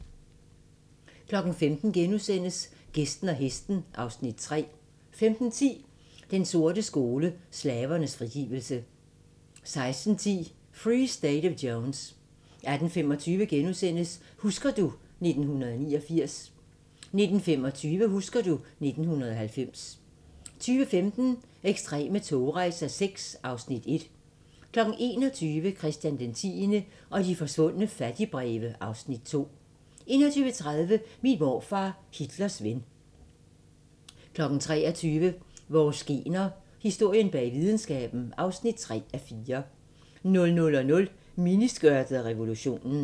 15:00: Gæsten og hesten (Afs. 3)* 15:10: Den sorte skole: Slavernes frigivelse 16:10: Free State of Jones 18:25: Husker du ... 1989 * 19:25: Husker du ... 1990 20:15: Ekstreme togrejser VI (Afs. 1) 21:00: Christian X og de forsvundne fattigbreve (Afs. 2) 21:30: Min morfar, Hitlers ven 23:00: Vores gener – Historien bag videnskaben (3:4) 00:00: Miniskørtet og revolutionen